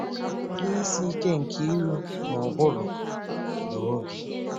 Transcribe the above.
Ihe Isi Ike nke iru Ma ụbụrụ na Obi.